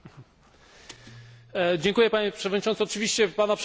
Dziękuję Panie Przewodniczący, oczywiście Pana przeprosiny zostają przyjęte.